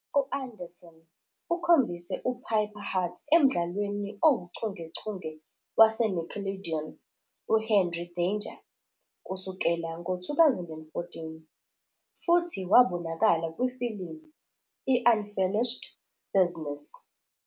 U-Anderson ukhombise uPiper Hart emdlalweni owuchungechunge waseNickelodeon "uHenry Danger" kusukela ngo-2014,futhi wabonakala kwifilimu i- "Unfinished Business".